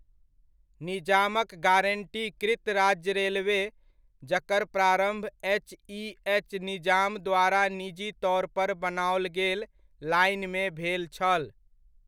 निजामक गारंटीकृत राज्य रेलवे, जकर प्रारम्भ एच.इ.एच. निजाम द्वारा निजी तौर पर बनाओल गेल लाइनमे भेल छल।